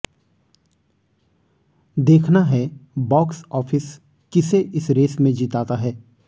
देखना है box office किसे इस रेस में जिताता है